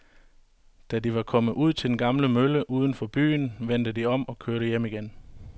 Da de var kommet ud til den gamle mølle uden for byen, vendte de om og kørte hjem igen.